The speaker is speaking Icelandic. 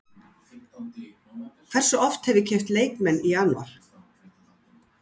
Hversu oft hef ég keypt leikmenn í janúar?